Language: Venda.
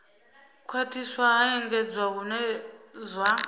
khwathiswa ha engedzwa hune zwa